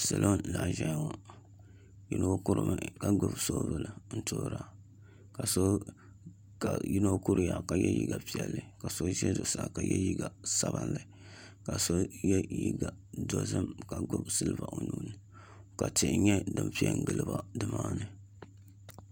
Salo n laɣam ʒɛya ŋo yino kurimi ka gbubi soobuli n toora ka yino kuriya ka yɛ liiga piɛlli ka so ʒɛ zuɣusaa ka yɛ liiga sabinli ka so yɛ liiga dozim ka gbuni silba o nuuni ka tihi nyɛ din piɛ n giliba nimaani